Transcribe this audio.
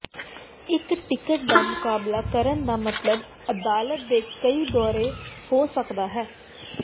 ਇੱਕ ਟਿਕਟ ਦਾ ਮੁਕਾਬਲਾ ਕਰਨ ਦਾ ਮਤਲਬ ਅਦਾਲਤ ਦੇ ਕਈ ਦੌਰੇ ਹੋ ਸਕਦਾ ਹੈ